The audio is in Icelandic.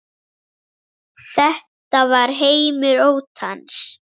Þetta var heimur óttans.